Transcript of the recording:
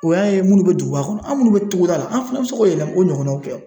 O y'a ye munnu be duguba kɔnɔ. An munnu be togoda la, an fana be se k'o yɛlɛma o ɲɔgɔnnaw kɛ.